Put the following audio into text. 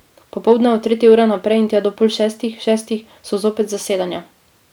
Popoldne od tretje ure naprej in tja do pol šestih, šestih so zopet zasedanja.